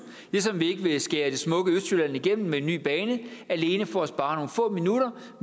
ligesom vi ikke vil skære det smukke østjylland igennem med en ny bane alene for at spare nogle få minutter